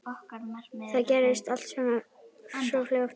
Það gerðist allt svo fljótt.